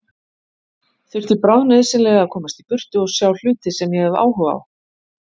Þurfti bráðnauðsynlega að komast í burtu og sjá hluti sem ég hefi áhuga á.